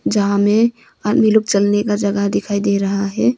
जहां हमें आदमी लोग चलने का जगह दिखाई दे रहा है।